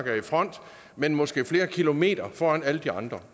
er i front men måske flere kilometer foran alle de andre